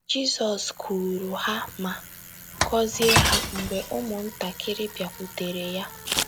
Jizọs kuuru ha ma gọzie ha mgbe ụmụntakịrị bịakwutere ya.